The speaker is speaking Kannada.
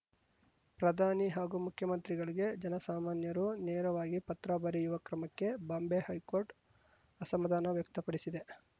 ಪ್ರಧಾನಿ ಹಾಗೂ ಮುಖ್ಯಮಂತ್ರಿಗಳಿಗೆ ಜನಸಾಮಾನ್ಯರು ನೇರವಾಗಿ ಪತ್ರ ಬರೆಯುವ ಕ್ರಮಕ್ಕೆ ಬಾಂಬೆ ಹೈಕೋರ್ಟ್‌ ಅಸಮಾಧಾನ ವ್ಯಕ್ತಪಡಿಸಿದೆ